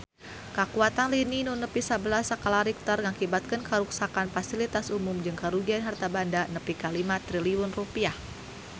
Kakuatan lini nu nepi sabelas skala Richter ngakibatkeun karuksakan pasilitas umum jeung karugian harta banda nepi ka 5 triliun rupiah